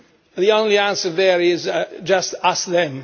The only answer there is just ask them